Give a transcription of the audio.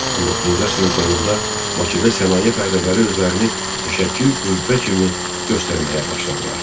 19-cu əsrin sonunda Bakıda sənaye fəhlələri özlərini mütəşəkkil qüvvə kimi göstərməyə başladılar.